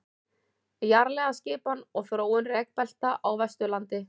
jarðlagaskipan og þróun rekbelta á vesturlandi